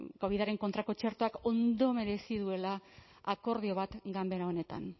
covidaren kontrako txertoak ndo merezi duela akordio bat ganbera honetan